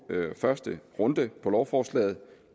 første runde på lovforslaget og